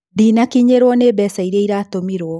Ndĩnakinyĩrũo nĩ mbeca iria iratũmirwo.